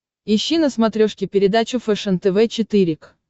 ищи на смотрешке передачу фэшен тв четыре к